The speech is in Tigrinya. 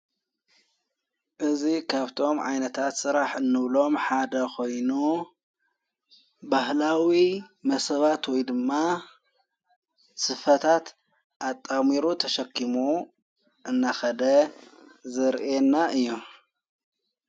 እዙ ኻብቶም ዓይነታት ሥራሕ እኖብሎም ሓደ ኾይኑ ባህላዊ መሰባትወይ ድማ ስፋታት ኣጣሚሩ ተሸኪሙ እናኸደ ዘርኤና እዮም።